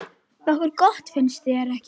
Nokkuð gott, finnst þér ekki?